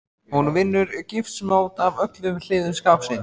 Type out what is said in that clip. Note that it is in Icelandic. Hún vinnur gifsmót af öllum hliðum skápsins.